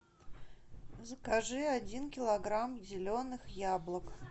закажи один килограмм зеленых яблок